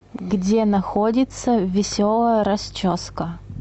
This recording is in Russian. где находится веселая расческа